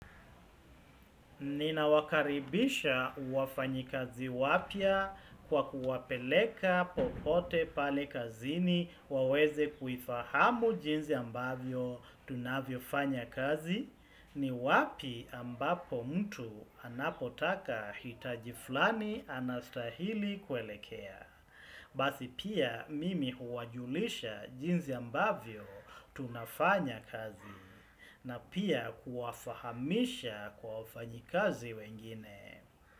Nina wakaribisha wafanyikazi wapya kwa kuwapeleka popote pale kazini, waweze kuifahamu jinzi ambavyo tunavyo fanya kazi. Ni wapi ambapo mtu anapotaka hitaji fulani anastahili kuelekea. Basi pia mimi huwajulisha jinzi ambavyo tunafanya kazi na pia kuwafahamisha kwa wafanyikazi wengine.